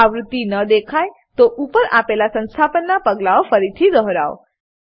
જો આવૃત્તિ ન દેખાય તો ઉપર આપેલા સંસ્થાપનનાં પગલાઓ ફરીથી દોહરાવો